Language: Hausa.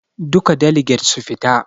Duka daliget su fita.